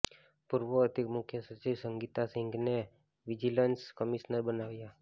પૂર્વ અધિક મુખ્ય સચિવ સંગીતા સિંઘને વિજિલન્સ કમિશનર બનાવાયા